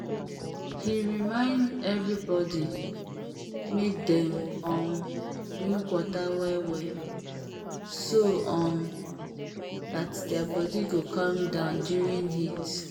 he remind everybody make dem um drink water well well so um that their body go calm down during heat